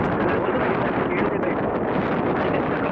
ಅದ್ರಲ್ಲಿ ಗಣಿತ ಎಂಟು ಕೇಳುದೇ ಬೇಡ ಬಾರಿ ಕಷ್ಟ.